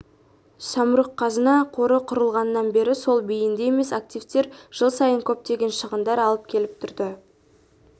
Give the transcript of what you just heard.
самұрық-қазына қоры құрылғаннан бері сол бейінді емес активтер жыл сайын көптеген шығындар алып келіп тұрды